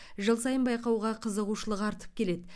жыл сайын байқауға қызығушылық артып келеді